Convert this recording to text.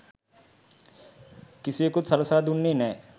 කිසිවෙකුත් සලසා දුන්නේ නෑ.